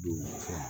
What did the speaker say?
Don fɛn